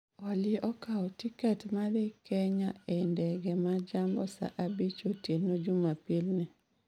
Olly okawo tiket ma dhi kenya e ndege ma jambo saa abich otieno jumapil ni